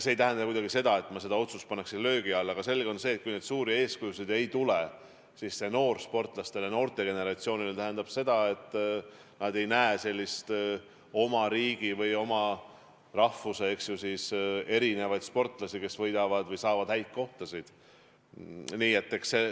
See ei tähenda kuidagi seda, et ma selle otsuse paneksin löögi alla, aga selge on see, et kui suuri eeskujusid ei ole, siis see noorsportlastele ja üldse noorte generatsioonile tähendab seda, et nad ei näe oma riiki või oma rahvust esindavaid sportlasi, kes võidavad või saavad muid häid kohtasid.